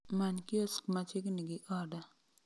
Many kiosk machiegni gi oda